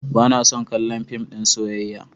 Ba na son kallon fim ɗin soyayya.